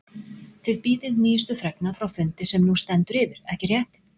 Þið bíðið nýjustu fregna frá fundi sem nú stendur yfir, ekki rétt?